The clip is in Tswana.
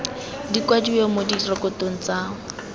di kwadiwe mo direkotong tsa